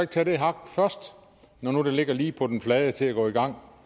tage det hak først når nu det ligger lige på den flade til at gå i gang